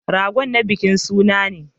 Ragon na bikin suna ne.